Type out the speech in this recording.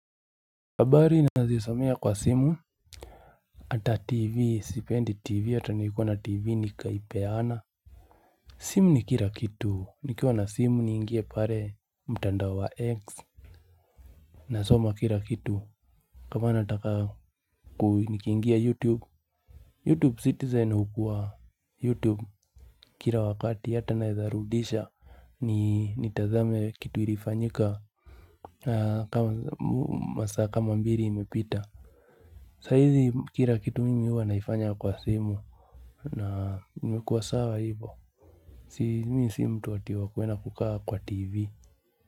Habari nazisomea kwa simu. Ata tv sipendi tv ata nilikuwa na tv nikaipe ana. Simu nikila kitu nikiwa na simu ni ingie pale mtandao wa x. Na soma kila kitu. Kama nataka ku nikingia youtube Youtube citizen hukuwa youtube. Kila wakati hata naezarudisha ni tazame kitu ilifanyika. Kama masaa kama mbili imepita. Sa hizi kila kitu mimi huwa naifanya kwa simu na nimekua sawa hivyo. Si mimi simtu ati wakwenda kukaa kwa tv.